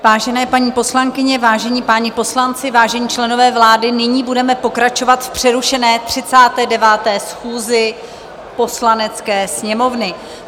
Vážené paní poslankyně, vážení páni poslanci, vážení členové vlády, nyní budeme pokračovat v přerušené 39. schůzi Poslanecké sněmovny.